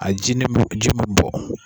A ji nin min ji min bɔ.